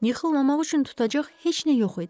Yıxılmamaq üçün tutacaq heç nə yox idi.